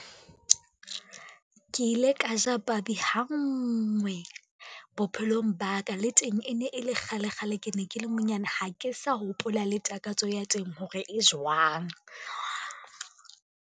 Ke ile ka ja pabi hangwe bophelong ba ka, le teng e ne e le kgale kgale ke ne ke le monyane, ha ke sa hopola le takatso ya teng hore e jwang.